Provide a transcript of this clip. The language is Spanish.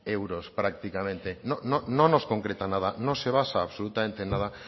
euros prácticamente no nos concreta nada no se basa absolutamente en nada